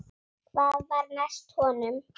Hvað var næst honum?